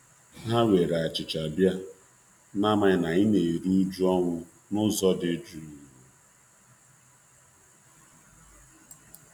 Ha were achicha bia, n'amaghị na anyị na-eru uju ọnwụ uju ọnwụ n'ụzọ dị juu.